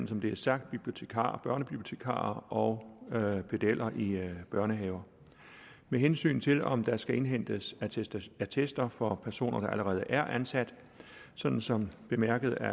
som det er sagt børnebibliotekarer og pedeller i børnehaver med hensyn til om der skal indhentes attester attester for personer der allerede er ansat som som bemærket af